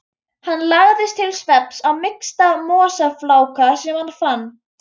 Hann lagðist til svefns á mýksta mosafláka sem hann fann.